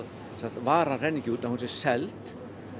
varan renni ekki út að hún sé seld